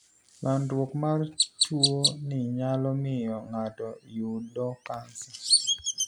landruok mar tu ni nyalo miyo ng'ato yudo cancer.